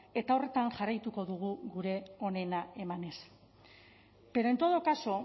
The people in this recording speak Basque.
eta horretan jarraituko dugu gure onena emanez pero en todo caso